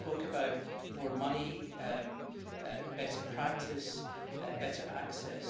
You spoke about more money, better practice and better access.